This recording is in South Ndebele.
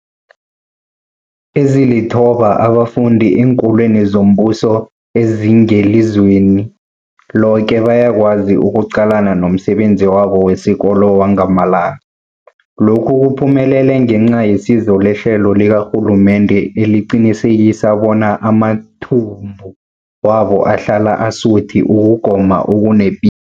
Ezilithoba abafunda eenkolweni zombuso ezingelizweni loke bayakwazi ukuqalana nomsebenzi wabo wesikolo wangamalanga. Lokhu kuphumelele ngenca yesizo lehlelo likarhulumende eliqinisekisa bona amathumbu wabo ahlala asuthi ukugoma okunepi